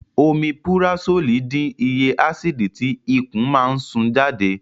Omipurasólì dín iye ásìdì tí ikùn máa ń sún jáde